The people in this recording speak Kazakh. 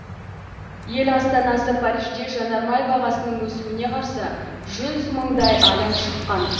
ел астанасы парижде жанармай бағасының өсуіне қарсы жүз мыңдай адам шыққан